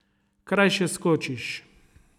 Krajše skočiš.